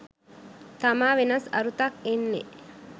තමා වෙනස් අරුතක් එන්නේ.